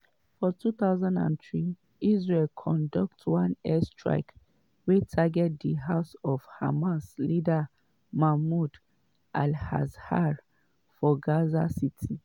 for 2003 israel conduct one airstrike wey target di house of hamas leader mahmoud al-zahar for gaza city.